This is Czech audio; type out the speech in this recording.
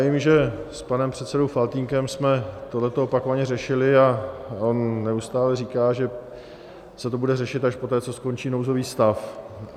Vím, že s panem předsedou Faltýnkem jsme toto opakovaně řešili, a on neustále říká, že se to bude řešit až poté, co skončí nouzový stav.